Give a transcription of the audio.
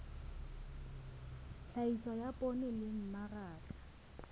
tlhahiso ya poone le mmaraka